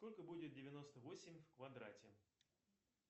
сколько будет девяносто восемь в квадрате